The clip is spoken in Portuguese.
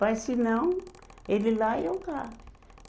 Mas se não, ele lá e eu cá.